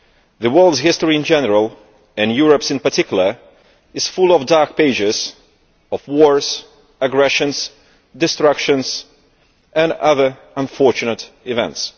The world's history in general, and Europe's in particular, is full of dark pages of wars, aggression, destruction and other unfortunate events.